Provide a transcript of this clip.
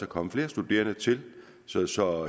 kommet flere studerende til så så